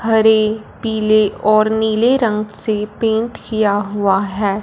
हरे पीले और नीले रंग से पेंट किया हुआ है।